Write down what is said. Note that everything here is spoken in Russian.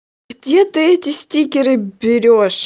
где ты эти стикеры берёшь